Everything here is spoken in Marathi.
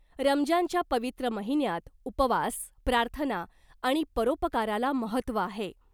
रमजानच्या पवित्र महिन्यात उपवास , प्रार्थना आणि परोपकाराला महत्त्व आहे .